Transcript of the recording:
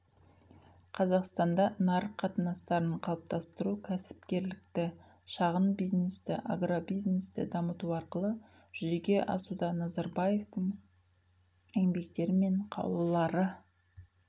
қазақстанда нарық қатынастарын қалыптастыру кәсіпкерлікті шағын бизнесті агробизнесті дамыту арқылы жүзеге асуда назарбаевтің еңбектері мен қаулылары